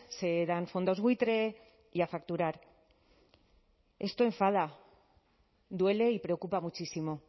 se dan fondos buitre y a facturar esto enfada duele y preocupa muchísimo